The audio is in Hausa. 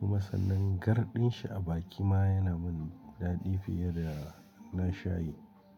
kuma sannan garɗin shi a baki ma yana min daɗi fiye da na shayi.